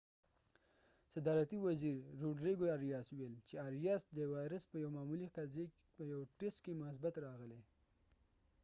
صدارتی وزیر روډریګو اریاسrodrigo arias وويل : چې اریاس د وایرس په یوه معمولي قضیې په یوه ټسټ کې مثبت راغلی